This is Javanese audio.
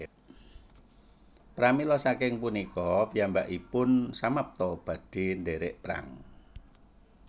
Pramila saking punika piyambakipun samapta badhe ndherek Perang